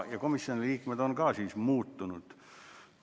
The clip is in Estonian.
Komisjoni liikmed on ka muutunud.